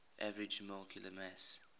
average molecular mass